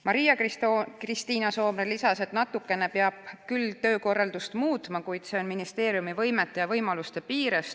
Maria-Kristiina Soomre lisas, et natukene peab küll töökorraldust muutma, kuid see on ministeeriumi võimete ja võimaluste piires.